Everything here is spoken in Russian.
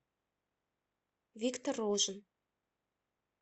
виктор рожин